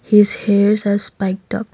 his hairs has spiked up.